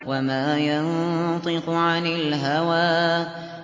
وَمَا يَنطِقُ عَنِ الْهَوَىٰ